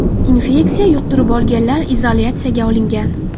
Infeksiya yuqtirib olganlar izolyatsiyaga olingan.